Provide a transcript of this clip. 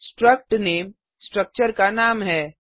strcut name structure का नाम है